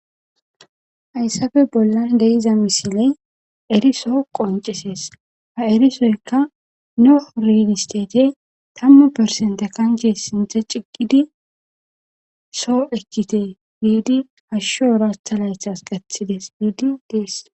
Hayssafe bollan deiza misiley eriso qoncisees ha erisoyka noh rinistete tammu persenta kanche sinthe ciqidi soo ekkite giidi hashsho ratha laythas gathides biidi deeskko.